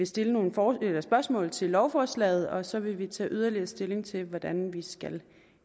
stille nogle spørgsmål til lovforslaget og så vil vi tage yderligere stilling til hvordan vi skal